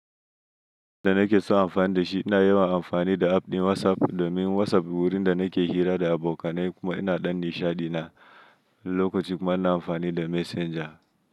Da nake so amfani da shi, ina yawan amfani da app ɗin WhatsApp domin WhatsApp wurin da nake hira da abokanai kuma ina danni shaɗina. Lokaci kuma ina amfani da Messenger.